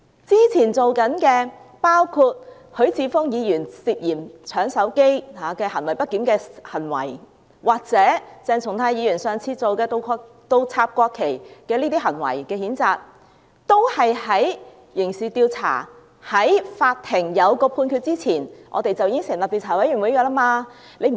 之前做過的許智峯議員涉嫌搶手機行為不檢的行為，或鄭松泰議員上次倒插國旗的行為的譴責，都是在刑事調查及法庭作出判決前已經成立調查委員會。